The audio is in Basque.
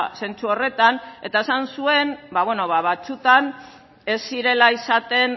zentzu horretan eta esan zuen batzuetan ez zirela izaten